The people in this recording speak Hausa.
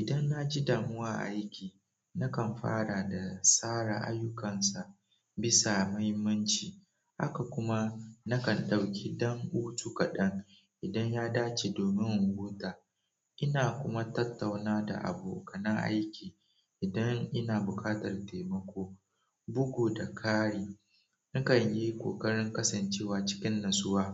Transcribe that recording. Idan na ji damuwa a aiki, na kan fara da tsara ayyukansa bisa muhimmanci. Haka kuma, na kan ɗauki dam hutu kaɗan idan ya dace domin in huta. Ina kuma tattauna da abokanan aiki idan ina bukatar temako, bugu da kari na kan yi ƙoƙarin kasancewa cikin natsuwa